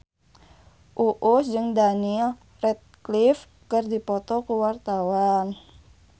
Uus jeung Daniel Radcliffe keur dipoto ku wartawan